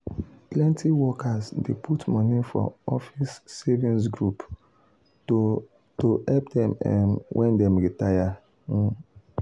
plenty workers dey put money for office savings group to to help dem um when dem retire. um